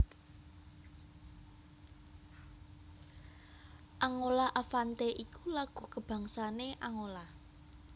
Angola Avante iku lagu kabangsané Angola